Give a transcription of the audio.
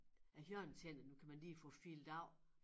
Æ hjørnetænder dem kan man lige få filet af